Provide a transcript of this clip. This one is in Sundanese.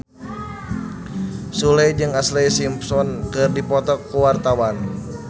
Sule jeung Ashlee Simpson keur dipoto ku wartawan